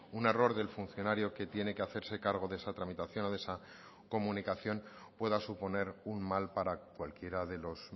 un error del funcionario que tiene que hacerse cargo de esa tramitación o de esa comunicación pueda suponer un mal para cualquiera de los